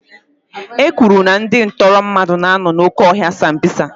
E kwuru na ndị ntọrị mmadụ na-anọ n'oke ọhịa sambisa.